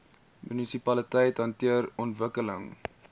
munisipaliteite hanteer ontwikkeling